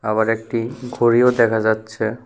আবার একটি ঘড়িও দেখা যাচ্ছে।